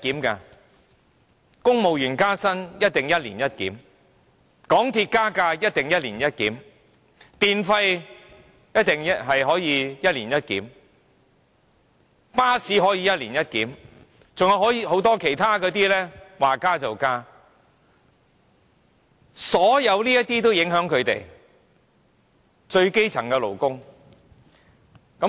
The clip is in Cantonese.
公務員加薪必定一年一檢、港鐵加價必定一年一檢、電費必定可以一年一檢、巴士票價可以一年一檢，還有很多其他機構說加價便加價，這一切都會影響最基層的勞工。